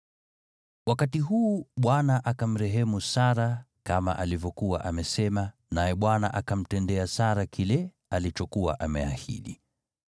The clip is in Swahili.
Wakati huu Bwana akamrehemu Sara kama alivyokuwa amesema, naye Bwana akamtendea Sara kile alichokuwa ameahidi.